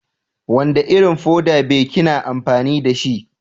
Wanda Irin fuda be kina amfani da shi?